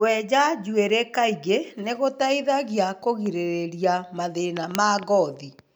kwenja njuĩrĩ kaingĩ nĩ gũteithagia kũgirĩrĩria mathĩna ma ngothi.